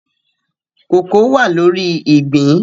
Kooko wà lórí ìgbín